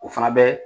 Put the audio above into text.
O fana bɛ